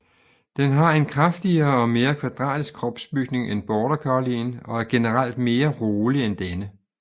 Den har en kraftigere og mere kvadratisk kropsbygning end Border Collien og er generelt mere rolig end denne